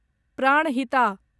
Pranahita